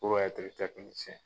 puru ɛtiri tɛkinisɛn